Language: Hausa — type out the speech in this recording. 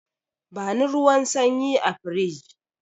Bani ruwan sanyi a firij!